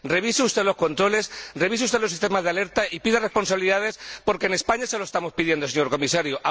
Revise usted los controles, revise usted los sistemas de alerta y pida responsabilidades, porque en España se lo estamos pidiendo, señor Comisario